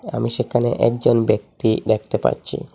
আমি সেখানে একজন ব্যক্তি দেখতে পাচ্ছি।